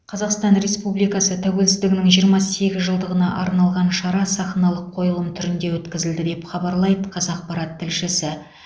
қазақстан республикасы тәуелсіздігінің жиырма сегіз жылдығына арналған шара сахналық қойылым түрінде өткізілді деп хабарлайды қазақпарат тілшісі